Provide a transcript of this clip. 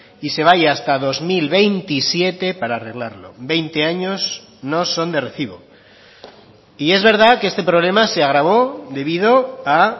y se vaya hasta dos mil veintisiete para arreglarlo veinte años no son de recibo y es verdad que este problema se agravó debido a